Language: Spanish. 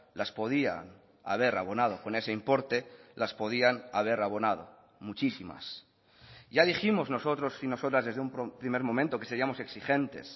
las podían haber abonado con ese importe las podían haber abonado muchísimas ya dijimos nosotros y nosotras desde un primer momento que seríamos exigentes